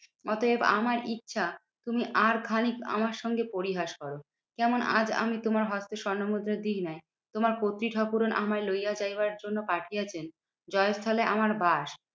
অতএব আমার ইচ্ছা তুমি আর খানিক আমার সঙ্গে পরিহাস করো। কেমন আজ আমি তোমার হস্তে স্বর্ণমুদ্রা দিই নাই। তোমার কর্ত্রী ঠাকুরন আমায় লইয়া যাইবার জন্য পাঠাইয়াছেন আমার বাস।